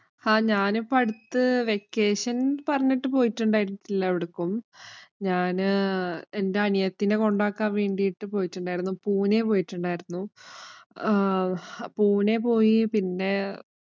ആഹ് ഞാനിപ്പം അടുത്ത് vacation പറഞ്ഞിട്ട്‌ പോയിട്ടുണ്ടായിട്ടില്ല എവിടേക്കും. ഞാന് എന്‍റെ അനിയത്തീനെ കൊണ്ടാക്കാന്‍ വേണ്ടിട്ടു പോയിട്ടുണ്ടാരുന്നു. പൂനെ പോയിട്ടുണ്ടാരുന്നു. പൂനെ പോയിട്ടുണ്ടാരുന്നു. ആഹ് പൂനെ പോയി. പിന്നെ